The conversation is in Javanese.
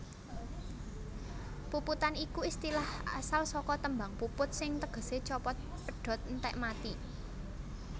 Puputan iku istilah asal saka tembung puput sing tegesé copot pedhot entèk mati